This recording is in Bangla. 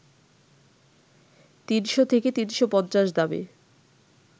৩০০ থেকে ৩৫০ দামে